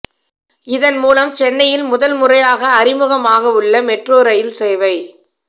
இதன் மூலம் சென்னையில் முதல் முறையாக அறிமுகமாகவுள்ள மெட்ரோ ரயில் சேவை